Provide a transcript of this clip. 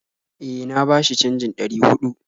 E, na bashi canjin ɗari huɗu